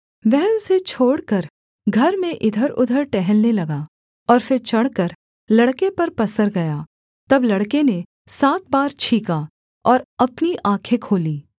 वह उसे छोड़कर घर में इधरउधर टहलने लगा और फिर चढ़कर लड़के पर पसर गया तब लड़के ने सात बार छींका और अपनी आँखें खोलीं